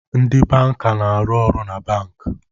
Ndị banka na-arụ na bankị